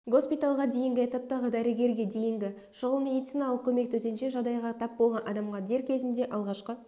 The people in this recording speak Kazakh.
госпитальға дейінгі этаптағы дәрігерге дейінгі шұғыл медициналық көмек төтенше жағдайға тап болған адамға дер кезінде алғашқы